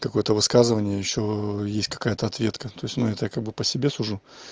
какой-то высказывания ещё есть какая-то ответка то есть но я так его по себе сужу